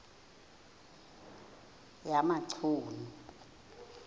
yamachunu